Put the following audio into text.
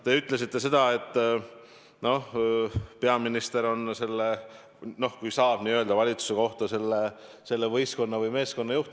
Te ütlesite, et peaminister on, kui nii saab öelda valitsuse kohta, selle võistkonna või meeskonna juht.